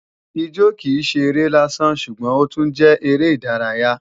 Ijó kìí ṣe eré lásán ṣùgbọ́n ó tún jẹ́ eré ìdárayá